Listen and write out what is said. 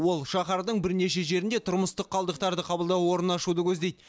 ол шаһардың бірнеше жерінде тұрмыстық қалдықтарды қабылдау орнын ашуды көздейді